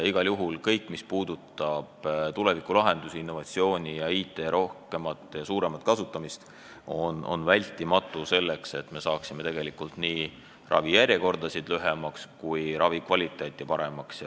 Igal juhul kõik, mis puudutab tulevikulahendusi, innovatsiooni ja IT rohkemat ja suuremat kasutamist, on vältimatu, selleks et me saaksime nii ravijärjekorrad lühemaks kui ka ravikvaliteedi paremaks.